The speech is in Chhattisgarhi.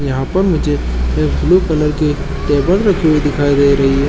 यहाँ पर मुझे ब्लू कलर की टेबल रखी हुई दिखाई दे रही है ।